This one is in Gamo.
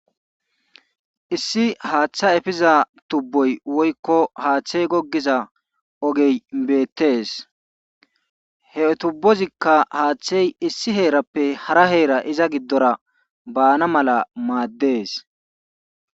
Issi haatha efiza tubboy woykko haathey goggiza beettees he tubbozikka haathey issi heerappe hara heera iza giddora baana mala maaddees.